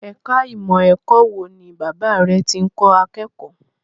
Ẹ̀ka ìmọ̀ ẹ̀kọ́ wo ni Bàbá rẹ̀ tí ń kọ́ akẹ́kọ̀ọ́?